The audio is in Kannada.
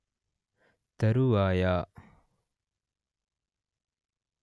ತರುವಾಯ